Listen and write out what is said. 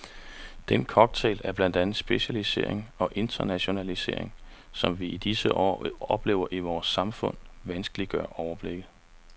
Den cocktail af blandt andet specialisering og internationalisering, som vi i disse år oplever i vores samfund, vanskeliggør overblikket.